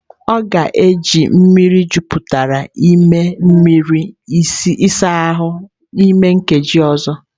Ọ ga-eji mmiri jupụta n'ime mmiri ịsa ahụ n'ime nkeji ọzọ.